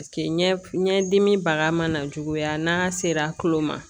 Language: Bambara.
Paseke ɲɛdimi baga mana juguya n'a sera tulo ma